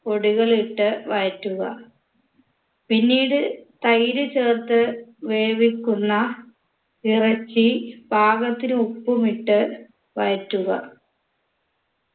പൊടികൾ ഇട്ട് വഴറ്റുക പിന്നീട് തൈര് ചേർത്ത് വേവിക്കുന്ന ഇറച്ചി പാകത്തിന് ഉപ്പും ഇട്ട് വഴറ്റുക